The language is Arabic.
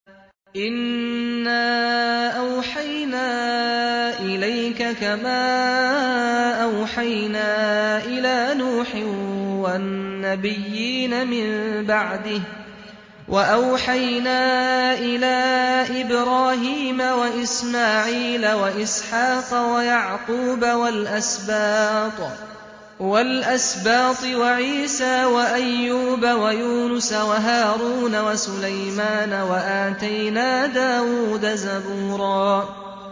۞ إِنَّا أَوْحَيْنَا إِلَيْكَ كَمَا أَوْحَيْنَا إِلَىٰ نُوحٍ وَالنَّبِيِّينَ مِن بَعْدِهِ ۚ وَأَوْحَيْنَا إِلَىٰ إِبْرَاهِيمَ وَإِسْمَاعِيلَ وَإِسْحَاقَ وَيَعْقُوبَ وَالْأَسْبَاطِ وَعِيسَىٰ وَأَيُّوبَ وَيُونُسَ وَهَارُونَ وَسُلَيْمَانَ ۚ وَآتَيْنَا دَاوُودَ زَبُورًا